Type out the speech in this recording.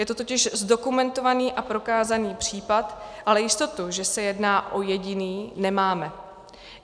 Je to totiž zdokumentovaný a prokázaný případ, ale jistotu, že se jedná o jediný, nemáme.